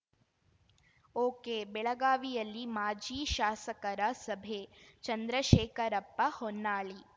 ಒಕೆಬೆಳಗಾವಿಯಲ್ಲಿ ಮಾಜಿ ಶಾಸಕರ ಸಭೆ ಚಂದ್ರಶೇಖರಪ್ಪ ಹೊನ್ನಾಳಿ